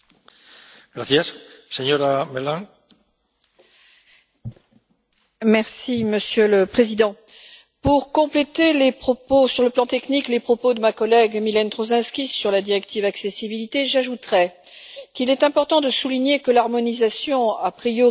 Monsieur le Président, pour compléter sur le plan technique les propos de ma collègue Mylène Troszczynski sur la directive sur l'accessibilité, j'ajouterais qu'il est important de souligner que l'harmonisation, a priori légitime, souhaitée par l'Union européenne pour faciliter la vie quotidienne d'une personne handicapée